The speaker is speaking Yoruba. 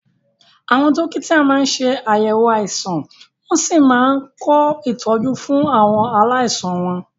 Àwọn dókítà máa ń ṣe àyẹ̀wò àìsàn wọ́n sì máa ń kọ ìtọ́jú fún àwọn aláìsàn wọn.